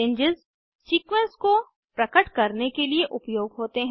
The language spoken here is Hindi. रेंजेस सीक्वेंस को प्रकट करने के लिए उपयोग होते हैं